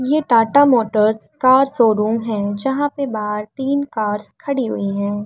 ये Tata Motors car showroom है। जहाँ पर बाहर तीन कार्स खड़ी हुई हैं।